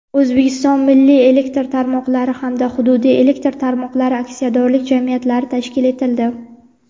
"O‘zbekiston milliy elektr tarmoqlari" hamda "Hududiy elektr tarmoqlari" aksiyadorlik jamiyatlari tashkil etildi.